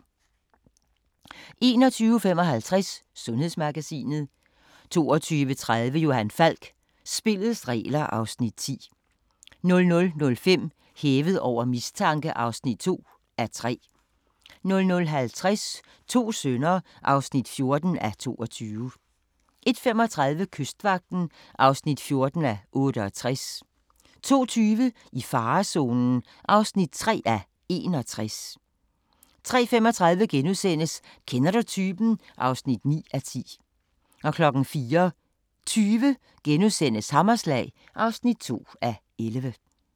21:55: Sundhedsmagasinet 22:30: Johan Falk: Spillets regler (Afs. 10) 00:05: Hævet over mistanke (2:3) 00:50: To sønner (14:22) 01:35: Kystvagten (14:68) 02:20: I farezonen (3:61) 03:35: Kender du typen? (9:10)* 04:20: Hammerslag (2:11)*